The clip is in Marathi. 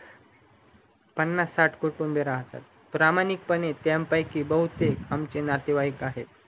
पन्नास साथ कुटुंबे राहतात प्रामाणिक पणे त्यापैकि आमचे नातेवाईक आहेत